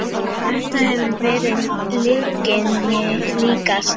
Þetta hefur verið lyginni líkast.